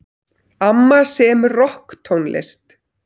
Amma semur rokktónlist.